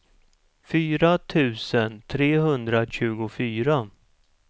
fyra tusen trehundratjugofyra